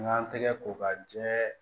N k'an tɛgɛ ko ka jɛ